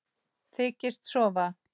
Þykist sofa.